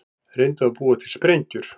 Reyndu að búa til sprengjur